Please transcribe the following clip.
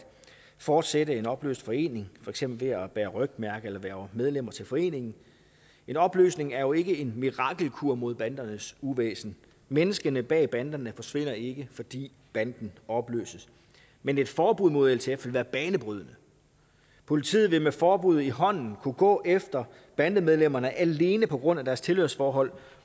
fortsætte en opløst forening for eksempel at bære rygmærke eller hverve medlemmer til foreningen en opløsning er jo ikke en mirakelkur mod bandernes uvæsen menneskene bag ved banderne forsvinder ikke fordi banden opløses men et forbud mod ltf vil være banebrydende politiet vil med forbuddet i hånden kunne gå efter bandemedlemmerne alene på grund af deres tilhørsforhold